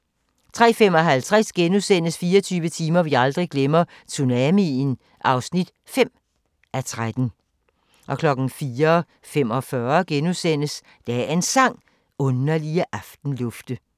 03:55: 24 timer vi aldrig glemmer – Tsunamien (5:13)* 04:45: Dagens Sang: Underlige aftenlufte *